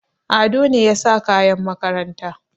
Ado ne ya sa kayan makaranta.